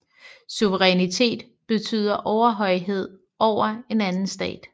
Suzerænitet betyder overhøjhed over en anden stat